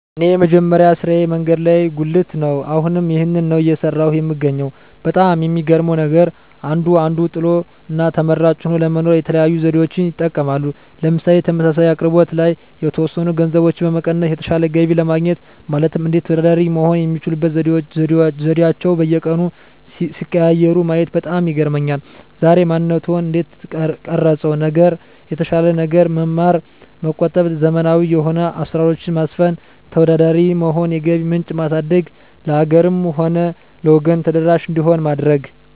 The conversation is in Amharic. እኔ የመጀመሪያ ስራየ መንገድ ላይ ጉልት ነው አሁንም ይህንን ነው እየሰራሁ የምገኘው በጣም የሚገርመው ነገር አንዱ አንዱን ጥሎ እና ተመራጭ ሆኖ ለመኖር የተለያዩ ዘዴዎችን ይጠቀማል ምሳሌ ተመሳሳይ አቅርቦት ላይ የተወሰኑ ገንዘቦችን በመቀነስ የተሻለ ገቢ ለማግኘት ማለትም እንዴት ተወዳዳሪ መሆን የሚችሉበት ዘዴአቸዉን በየቀኑ ሲቀያይሩ ማየት በጣም ይገርመኛል ዛሬ ማንነትዎን እንዴት ቀረፀው ነገር የተሻለ ነገር መማር መቆጠብ ዘመናዊ የሆኑ አሰራሮች ማስፈን ተወዳዳሪ መሆን የገቢ ምንጭ ማሳደግ ለሀገርም ሆነ ለወገን ተደራሽ እንዲሆን ማድረግ